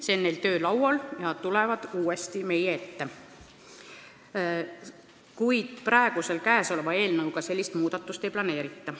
See on neil töölaual ja nad tulevad uuesti meie ette, kuid praegusesse eelnõusse sellist muudatust ei planeerita.